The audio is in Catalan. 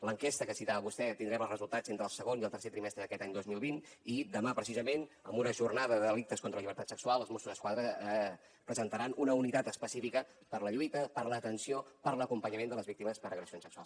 l’enquesta que citava vostè tindrem els resultats entre el segon i el tercer trimestre d’aquest any dos mil vint i demà precisament en una jornada de delictes contra la llibertat sexual els mossos d’esquadra presentaran una unitat específica per a la lluita per a l’atenció per a l’acompanyament de les víctimes per agressions sexuals